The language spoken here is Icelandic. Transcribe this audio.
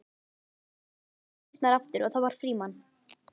Loks opnuðust dyrnar aftur og það var Frímann.